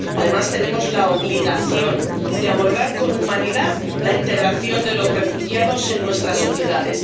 Además, tenemos la obligación de abordar con humanidad la integración de los refugiados en nuestras sociedades.